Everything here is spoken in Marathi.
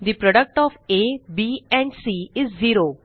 the product of a b and c is zero